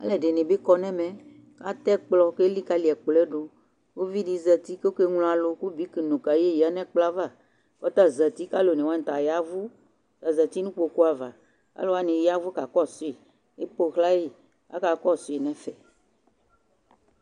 Alu ɛdini bi kɔ nɛ ɛmɛ ka tɛ kplɔ ké likali kplɔɛ du uvi di zɛti kɔ ké nlo alu ku biki nu kayé ya nɛ kplɔɛ va kɔta zɛti kɔ alu oné wani ta yavu azɛti nu kpokpu ava alu wani yavu ka kɔsui épowlayi ka ka kɔsu nɛ fɛ